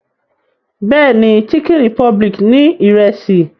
Bẹ́ẹ̀ni, Chicken republic ní Ìrẹ́sì